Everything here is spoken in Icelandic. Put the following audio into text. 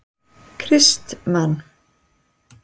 Kristmann